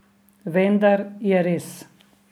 Vendar je res.